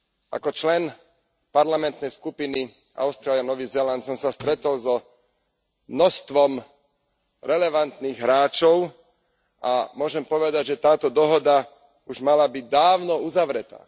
Ako člen parlamentnej skupiny Austrália Nový Zéland som sa stretol s množstvom relevantných hráčov a môžem povedať, že táto dohoda už mala byť dávno uzavretá.